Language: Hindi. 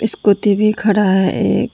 स्कूटी भी खड़ा है एक।